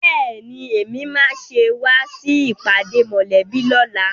Bẹ́ẹ̀ni, Èmi máa ṣe wá sí ìpàdé mòlẹ́bí lóla